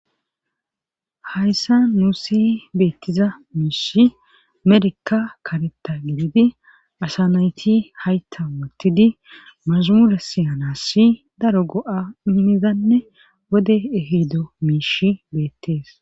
Hayssa nuus beettiza miishshi merika karetta gididi asa nayti haytta wottidi maasamure siyanassi daro go7a immizanne wode ehido miishi beettees